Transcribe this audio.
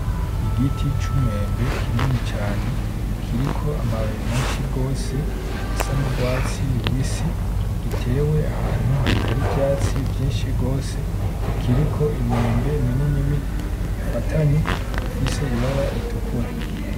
Igiti c'umwembe kinini cane kiriko amababi menshi gose asa n'urwatsi rubisi , gitewe ahantu hatari ivyatsi vyinshi gose , kiriko imyembe minini minini ifatanye ifise ibara ritukura.